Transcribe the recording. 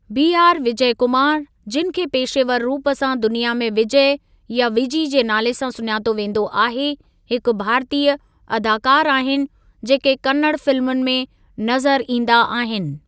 B R Vijay Kumar, जिनि खे पेशेवर रूप सां दुनिया में विजय या विजी जे नाले सां सुञातो वेंदो आहे , हिकु भारतीय अदाकारु आहिनि जेके कन्नड़ फिल्मुनि में नज़रु ईंदा आहिनि।